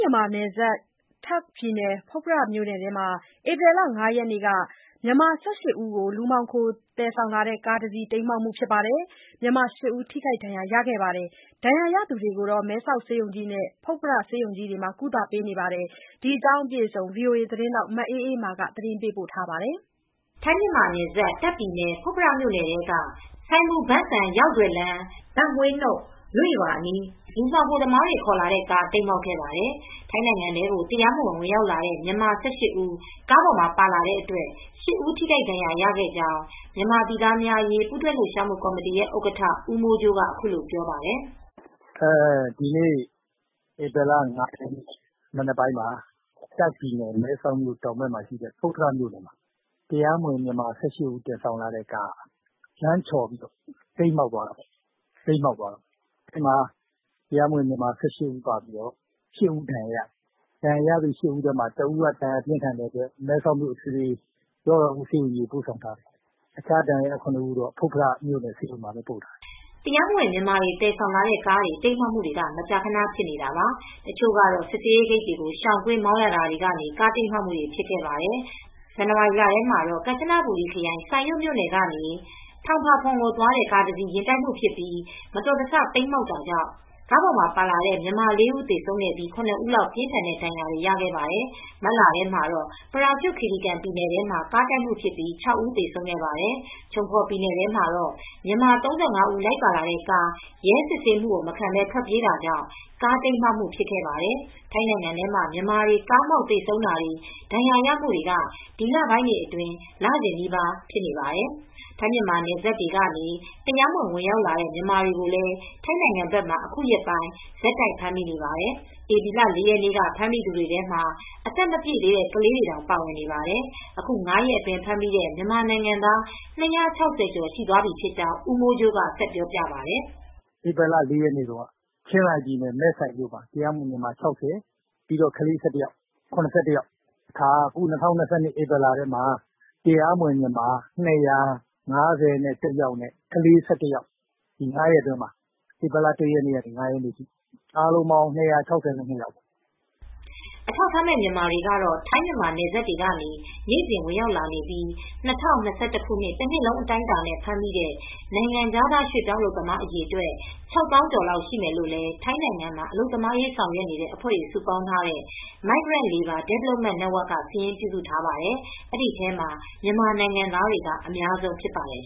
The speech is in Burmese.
ြန်မာနဲ့နယ်စပ် တာ့ခ်ပြည်နယ်၊ ဖွတ်ဖရမြို့နယ်ထဲမှာ ဧပြီလ ၅ရက်နေ့က မြန်မာ ၁၈ ဦးကို လူမှောင်ခိုသယ်ဆောင်လာတဲ့ကားတစီး တိမ်းမှောက်ပြီး မြန်မာ ၈ ဦးထိခိုက်ဒဏ်ရာရခဲ့ပါတယ်။ ဒဏ်ရာရသူတွေကို မဲဆောက်ဆေးရုံကြီးနဲ့ ဖွတ်ဖရဆေးရုံကြီး တို့မှာကုသပေးနေပါတယ်။ ဒီသတင်းကို ဗွီအိုအေသတင်းထောက် မအေးအေးမာက သတင်းပေးပို့ထားပါတယ်။ ထိုင်းမြန်မာနယ်စပ် တာ့ခ်ပြည်နယ် ဖွတ်ဖရမြို့နယ်ထဲက စိုင်မူဘန်းစမ်ရောက်ဒွယ်လမ်း၊ ဘန့်ဟွေးနုတ်လွေ့ရွာအနီး လူမှောင် ခိုသမားတွေ ခေါ်လာတဲ့ကား တိမ်းမှောက်ခဲ့ပါတယ်။ ထိုင်းနိုင်ငံထဲကို တရားမဝင် ဝင်ရောက်လာတဲ့ မြန်မာ ၁၈ ဦး ကားပေါ် ပါလာတဲ့အတွက် ၈ ဦး ထိခိုက်ဒဏ်ရာရခဲ့ကြောင်း မြန်မာပြည်သားများအရေး ပူးတွဲလှုပ်ရှားမူ့ကော်မတီရဲ့ ဥက္ကဋ္ဌ ဦးမိုးကြိုးက အခုလိုပြောပါတယ်။ “ဒီနေ့ ဧပြီလ ၅ ရက်နေ့မနက်ပိုင်းမှာ တာ့ခ်ပြည်နယ် မဲဆောက်မြို့တောင်ဘက်မှာရှိတဲ့ ဖွတ်ဖရမြိုနယ်ထဲမှာ တရားမဝင် မြန်မာ ၁၈ ဦးကို သယ်ဆောင်လာတဲ့ကားက လမ်းချော်ပြီး တိမ်းမှောက်သွားပါတယ်။ ဒီထဲမှာ တရားမဝင် မြန်မာ ၁၈ ဦးထဲက ၈ ဦး ဒဏ်ရာရပါတယ်။ အဲဒီထဲက တဦးကတော့ ဒဏ်ရာပြင်းထန်လို့ မဲဆောက်အထွေထွေကုဆေးရုံကြီးကို ပို့ဆောင်ထားရပါတယ်။ ကျန်တဲ့ ဒဏ်ရာရ ခုနစ်ဦးကတော့ ဖွတ်ဖရဆေးရုံကြီးမှာ ပို့ပြီးကုသခံနေရပါတယ်။” တရားမဝင် မြန်မာတွေ သယ်ဆောင်လာတဲ့ကားတွေ တိမ်းမှောက်မှုဆိုတာက ထိုင်းနိုင်ငံအတွင်း မကြာခန ဖြစ်နေတာပါ။ တချို့မတော်တဆ ကားမှောက်တာတွေဟာ စစ်ဆေးရေးဂိတ်တွေကိုရှောင်ကွင်းမောင်းရတာကနေ ဖြစ်ခဲ့ကြတာပါ။ ဇန်နဝါရီလထဲတုန်းကတော့ ကမ်ချနဘူရီခရိုင် Sai Yok မြို့နယ်ကနေThong Pha Phum ကိုသွားတဲ့ ကားတစီး ယဉ်တိုက်မှုဖြစ်ပြီး မတော်တဆ တိမ်းမှောက်ခဲ့ရာက ကားထဲမှာပါလာတဲ့မြန်မာ ၄ ဦးသေဆုံးပြီး ၇ ဦးလောက်က ပြင်းထန်တဲ့ဒဏ်ရာတွေရခဲ့ပါတယ်။ မတ်လထဲမှာတော့ ပရာကျွတ်ခီရီကန်ပြည်နယ်ထဲမှာ ဖြစ်တဲ့ ကားတိုက်မှုအတွင်း ၆ ဦး သေဆုံးခဲ့ပါတယ်။ ချုံဖော်ပြည်နယ်ထဲမှာလည်း မြန်မာ ၃၅ ဦး လိုက်ပါလာတဲ့ကား ရဲစစ်ဆေးတာမခံဘဲ ထွက်ပြေးရင်း ကားမှောက်သွားခဲ့ပါတယ်။ ထိုင်းနိုင်ငံထဲမှာ မြန်မာတွေလိုက်ပါလာတဲ့ကားတွေ မတော်တဆ တိမ်းမှောက်တာ၊ ကားတိုက်တာတွေဟာ လစဉ်နီးပါးဖြစ်နေပါတယ်။ ထိုင်းမြန်မာနယ်စပ်တွေကနေ တရားမဝင် ဝင်ရောက်လာတဲ့ မြန်မာတွေကိုလည်း ထိုင်းနိုင်ငံဘက်မှာ အခုရက်ပိုင်း ဆက်တိုက်ဖမ်းမိနေပါတယ်။ ဧပြီလ ၄ ရက်နေ့ကဖမ်းမိသူတွေထဲမှာ အသက်မပြည့်သေးတဲ့ကလေးတွေတောင် ပါဝင်ပါတယ်။ အခု ၅ ရက်အတွင်း ဖမ်းမိတဲ့မြန်မာနိုင်ငံသား ၂၆၀ ကျော် ရှိသွားပြီဖြစ်ကြောင်း ဦးမိုးကြိုးက ဆက်ပြောပြပါတယ်။ “ဧပြီလ ၄ ရက်နေ့တုန်းကတော့ ချင်းရိုင်ပြည်နယ်၊ မဲဆိုင်မြို့နယ်ထဲမှာ တရားမဝင် မြန်မာ ၆၀၊ ကလေး ၁၁ ယောက်- အားလုံး ၇၁ ယောက်ပါ။ ၂၀၂၂ ခုနှစ်၊ ဧပြီလထဲမှာတော့ တရားမဝင်မြန်မာ ၂၅၁ ယောက်နဲ့ ကလေးက ၁၁ ယောက်။ အခု ၅ ရက်အတွင်းမှာပါ။ ဧပြီလ ၁ ရက်နေ့ကနေ ၅ ရက်နေ့ထိ အားလုံး ၂၆၂ ယောက်ပါ။” အထောက်အထားမဲ့မြန်မာတွေကတော့ထိုင်းမြန်မာနယ်စပ်တွေကနေနေစဉ်ဝင်ရောက်လာနေပြီး ၂၀၂၁ တနှစ်လုံးအတိုင်းအတာနဲ့ ဖမ်းမိတဲ့ နိုင်ငံခြားရွှေပြောင်း အလုပ်သမားအရေအတွက်၆သောင်းကျော်လောက်ရှိမယ်လို့လည်း ထိုင်းနိုင်ငံမှာ အလုပ်သမားရေးဆောင်ရွက်နေတဲ့အဖွဲ့တွေစုပေါင်းထားတဲ့ Migrant Labour Development Network ကစာရင်း ပြုစုထားပါတယ်။ အဲဒီထဲမှာ မြန်မာနိုင်ငံသားတွေက အများဆုံးဖြစ်ပါတယ်